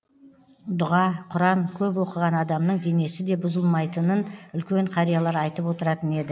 дұға құран көп оқыған адамның денесі де бұзылмайтынын үлкен қариялар айтып отыратын еді